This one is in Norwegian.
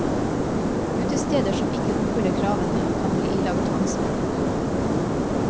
Utesteder som ikke oppfyller kravene, kan bli ilagt tvangsmulkt.